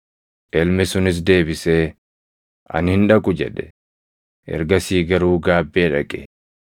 “Ilmi sunis deebisee, ‘Ani hin dhaqu’ jedhe; ergasii garuu gaabbee dhaqe.